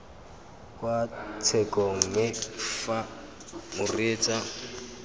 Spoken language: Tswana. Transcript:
kwa tshekong mme fa moreetsa